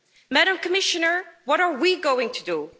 Madam Commissioner, what are we going to do?